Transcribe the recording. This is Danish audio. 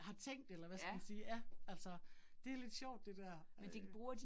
Har tænkt eller hvad skal man sige, ja altså. Det lidt sjovt det dér øh